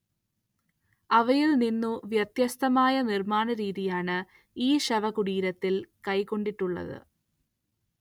അവയിൽനിന്നു വ്യത്യസ്തമായ നിർമ്മാണരീതിയാണ് ഈ ശവകുടീരത്തിൽ കൈക്കൊണ്ടിട്ടുള്ളത്.